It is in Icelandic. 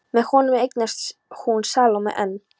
Með honum eignast hún Salóme, en